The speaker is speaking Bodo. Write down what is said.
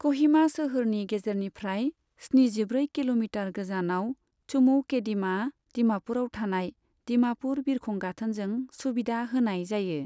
कहिमा सोहोरनि गेजेरनिफ्राय स्निजिब्रै किल'मिटार गोजानाव चुमौकेदिमा दिमापुरआव थानाय दिमापुर बिरखं गाथोनजों सुबिदा होनाय जायो।